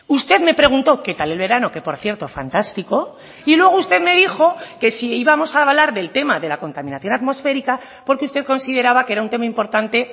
usted me preguntó qué tal el verano que por cierto fantástico y luego usted me dijo que si íbamos a hablar del tema de la contaminación atmosférica porque usted consideraba que era un tema importante